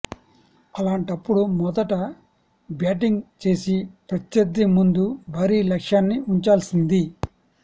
అలాంటపుడు మొదట బ్యాటింగ్ చేసి ప్రత్యర్థి ముందు భారీ లక్ష్యాన్ని వుంచాల్సింది